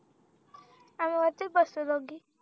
आम्ही वरतीच बसतो दोघी